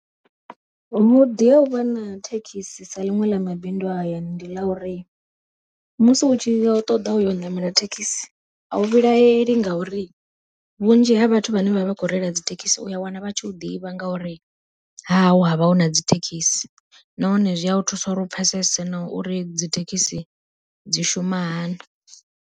Vhuḓi ha uvha na thekhisi sa ḽiṅwe ḽa mabindu a hayani, ndi ḽa uri musi hu tshi ṱoḓa u ya u ṋamela thekhisi, a u vhilaheli ngauri vhunzhi ha vhathu vhane vha vha khou reila dzi thekhisi u ya wana vha tshi u ḓivha ngauri hahau havha huna dzi thekhisi, nahone zwi a thusa uri u pfhesese na uri dzithekhisi dzi shuma hani.